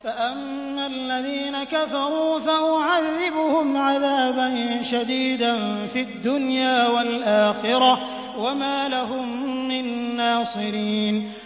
فَأَمَّا الَّذِينَ كَفَرُوا فَأُعَذِّبُهُمْ عَذَابًا شَدِيدًا فِي الدُّنْيَا وَالْآخِرَةِ وَمَا لَهُم مِّن نَّاصِرِينَ